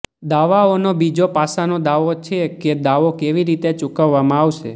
દાવાઓનો બીજો પાસાનો દાવો છે કે દાવો કેવી રીતે ચૂકવવામાં આવશે